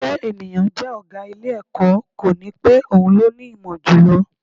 Pé ènìyàn jẹ́ ọ̀gá ilé-ẹ̀kọ́, kò ní pé òun ló ní ìmọ̀ jù lọ